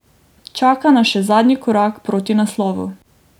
Čaka nas še zadnji korak proti naslovu.